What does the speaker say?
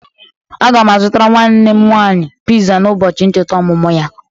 Aga m azụtara nwanne m nwaanyị piza n'ụbọchị ncheta ọmụmụ ya.